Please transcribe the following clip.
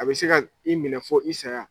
A bɛ se ka i minɛ fɔ i saya